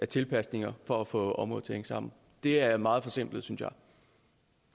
tilpasninger for at få området til at sammen det er meget forsimplet synes